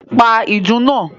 Pa ìdùnnú náà!